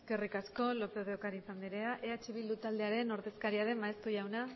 eskerrik asko lópez de ocariz andrea eh bildu taldearen ordezkaria den maeztu jauna